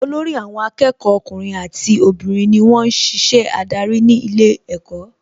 Olórí àwọn akẹ́kọ̀ọ́ ọkùnrin àti obìnrin ni wón ń ṣiṣẹ́ adarí ní ilé ẹ̀kọ́